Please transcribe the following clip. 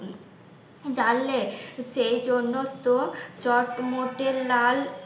জানলে সেই জন্য তো চটমোটে লাল